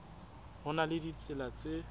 ho na le ditsela tse